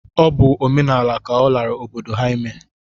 Ọ bụ omenaala ka ọ lara obodo ha ime